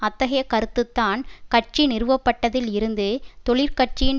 அத்தகைய கருத்து தான் கட்சி நிறுவப்பட்டதில் இருந்து தொழிற்கட்சியின்